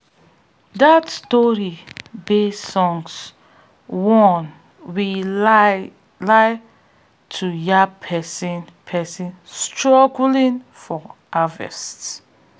dat story-based song warns we lai lai to yab pesin pesin struggling for harvest.